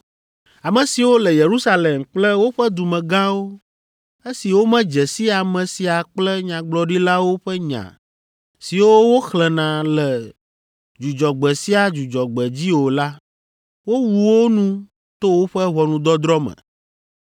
Ame siwo le Yerusalem kple woƒe dumegãwo, esi womedze si ame sia kple nyagblɔɖilawo ƒe nya siwo woxlẽna le Dzudzɔgbe sia Dzudzɔgbe dzi o la, wowu wo nu to woƒe ʋɔnudɔdrɔ̃ me.